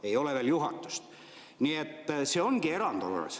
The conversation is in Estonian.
Ei ole veel juhatust, nii et see ongi erandkord.